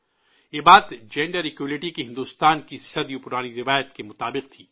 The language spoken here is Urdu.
یہ بات جنسی برابری کی بھارت کی صدیوں پرانی روایت کے موافق تھی